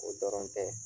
O dɔrɔn tɛ